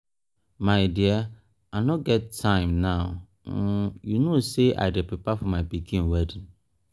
my dear i no get time now um you no say i dey prepare for my pikin wedding